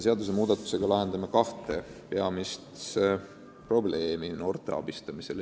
Seaduse muutmisega püüame lahendada kahte peamist probleemi noorte abistamisel.